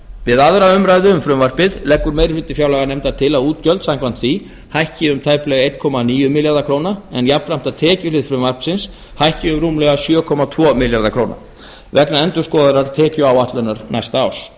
við aðra umræðu um frumvarpið leggur meiri hluti fjárlaganefndar til að útgjöld samkvæmt því hækki um tæplega eitt komma níu milljarða króna en jafnframt að tekjuhlið frumvarpsins hækki um rúmlega sjö komma tvo milljarða króna vegna endurskoðaðrar tekjuáætlunar næsta árs